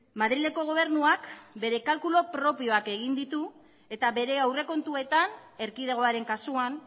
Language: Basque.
madrileko gobernuak bere kalkulu propioak egin ditu eta bere aurrekontuetan erkidegoaren kasuan